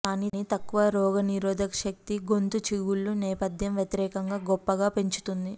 కానీ తక్కువ రోగనిరోధక శక్తి గొంతు చిగుళ్ళు నేపధ్యం వ్యతిరేకంగా గొప్పగా పెంచుతుంది